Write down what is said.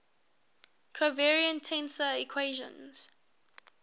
covariant tensor equations